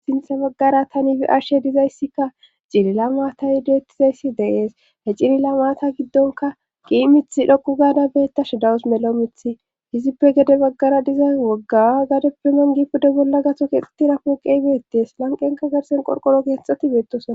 sintha baggara tanifi ashshe dizayssikka cilila maata yideettizayssi deees he cilila maata giddonka qii mith dhoqu gaada beetta shadawus melo mithi hizippe gede baggara diza woggawa gadep piman gipude bolla gato keexxeti rapooqeybeettees lanqenka garsen qorqoro keexxati beettosa